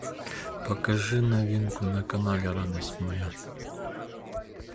покажи новинку на канале радость моя